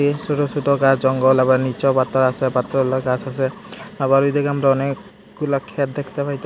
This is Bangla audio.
এই সোটো সোটো গাস জঙ্গল আবার নীচেও পাতর আসে পাতাওলা গাস আসে আবার ওইদিকে আমরা অনেকগুলা ক্ষেত দেখতে পাইতা--